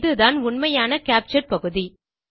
இதுதான் உண்மையான கேப்சர் பகுதி